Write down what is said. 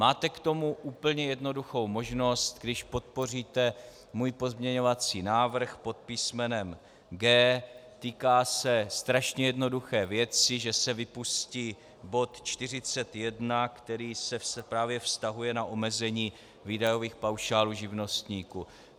Máte k tomu úplně jednoduchou možnost, když podpoříte můj pozměňovací návrh pod písmenem G. Týká se strašně jednoduché věci, že se vypustí bod 41, který se právě vztahuje na omezení výdajových paušálů živnostníků.